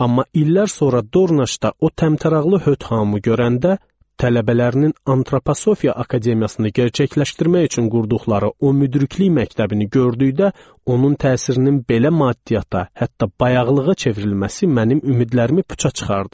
Amma illər sonra Dornaçda o təmtəraqlı Höt hamı görəndə, tələbələrinin Antroposofiya Akademiyasını gərçəkləşdirmək üçün qurduqları o müdriklik məktəbini gördükdə, onun təsirinin belə maddiyyata, hətta bayaqlığa çevrilməsi mənim ümidlərimi puça çıxardı.